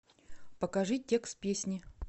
покажи текст песни